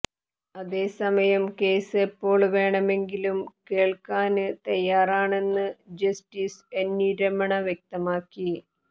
അതേസമയം കേസ് എപ്പോള് വേണമെങ്കിലും കേള്ക്കാന് തയാറാണെന്ന് ജസ്റ്റിസ് എന്വി രമണ വ്യക്തമാക്കി